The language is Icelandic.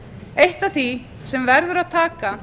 eitt af því sem verður að taka